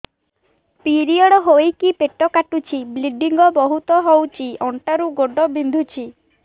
period ହୋଇକି ପେଟ କାଟୁଛି ବ୍ଲିଡ଼ିଙ୍ଗ ବହୁତ ହଉଚି ଅଣ୍ଟା ରୁ ଗୋଡ ବିନ୍ଧୁଛି